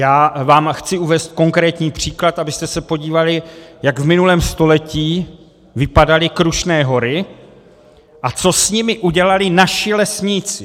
Já vám chci uvést konkrétní příklad, abyste se podívali, jak v minulém století vypadaly Krušné hory a co s nimi udělali naši lesníci.